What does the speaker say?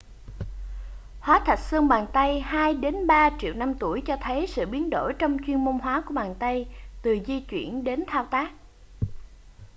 hóa thạch xương bàn tay hai đến ba triệu năm tuổi cho thấy sự biến đổi trong chuyên môn hóa của bàn tay từ di chuyển đến thao tác